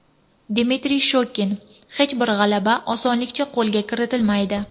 Dmitriy Shokin: Hech bir g‘alaba osonlikcha qo‘lga kiritilmaydi.